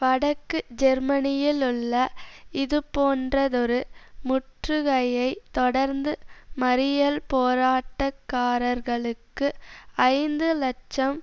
வடக்கு ஜெர்மனியிலுள்ள இதுபோன்றதொரு முற்றுகையைத் தொடர்ந்து மறியல்போராட்டக்காரர்களுக்கு ஐந்து இலட்சம்